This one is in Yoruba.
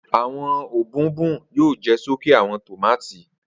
Awọn òbòònbọòn yoo jẹ soke awọn tomati